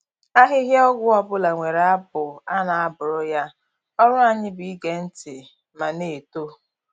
Ahịhịa ọgwụ ọbụla nwere abụ a na-abụrụ ya, ọrụ anyị bụ ige ntị ma na-eto.